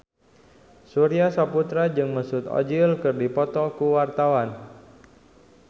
Surya Saputra jeung Mesut Ozil keur dipoto ku wartawan